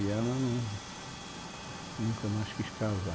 E ela não, nunca mais quis casar.